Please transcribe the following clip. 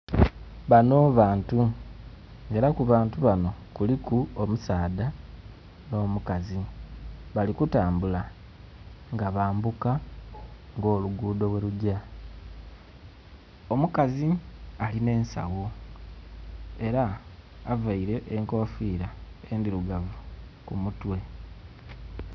Banho bantu era ku bantu banho kuliku omusaadha nhomukazi bali kutambula nga bambuka nga olugudho bwerugya. Omukazi alina ensagho era avaire enkofira endhirugavu ku mutwe.